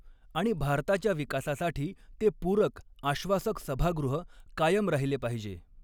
आणि भारताच्या विकासासाठी ते पूरक आश्वासक सभागृह कायम राहिले पाहिजे.